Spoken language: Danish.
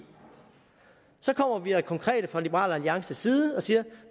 så kommer vi og er konkrete fra liberal alliances side og siger